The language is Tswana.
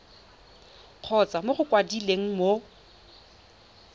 kgotsa mo go mokwaledi mo